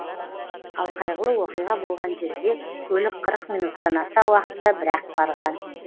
ал қайғылы оқиға болған жерге көлік қырық минуттан аса уақытта бір ақ барған